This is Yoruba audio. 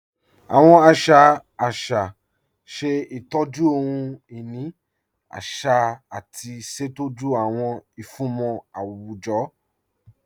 Awọn àṣà àṣà ṣẹ̀ ìtọ́jú ọhun-inì àṣà àti ṣẹ̀tọ́jú awọn ìfúnmọ̀ awujọ̀